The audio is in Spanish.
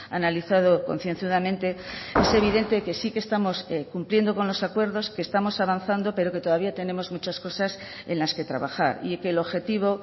analizado concienzudamente es evidente que sí que estamos cumpliendo con los acuerdos que estamos avanzando pero que todavía tenemos muchas cosas en las que trabajar y que el objetivo